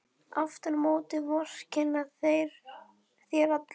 Aftur á móti vorkenna þér allir.